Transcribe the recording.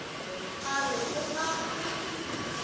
a re o a go